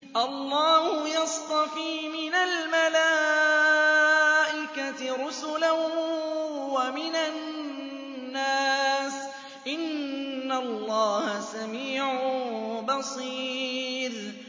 اللَّهُ يَصْطَفِي مِنَ الْمَلَائِكَةِ رُسُلًا وَمِنَ النَّاسِ ۚ إِنَّ اللَّهَ سَمِيعٌ بَصِيرٌ